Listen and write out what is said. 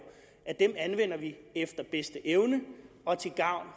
efter bedste evne og til gavn